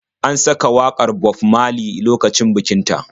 An saka wakar Bob Maley lokacin bikin ta.